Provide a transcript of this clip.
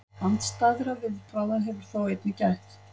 Andstæðra viðbragða hefur þó einnig gætt.